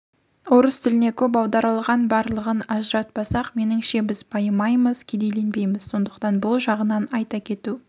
орыс тіліне көп аударылған барлығын ажыратпасақ меніңше біз байымаймыз кедейленеміз сондықтан бұл жағынан айта кету